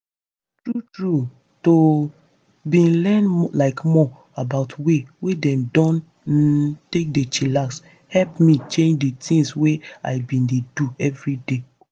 true true to bin learn like more about way wey dem dem um take dey chillax hep me change di thing wey i been dey do everyday.